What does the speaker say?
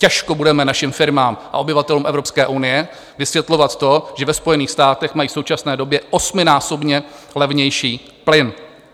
Těžko budeme našim firmám a obyvatelům Evropské unie vysvětlovat to, že ve Spojených státech mají v současné době osminásobně levnější plyn.